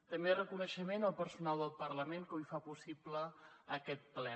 també reconeixement al personal del parlament que avui fa possible aquest ple